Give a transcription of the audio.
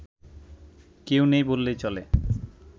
কেউ নেই বললেই চলে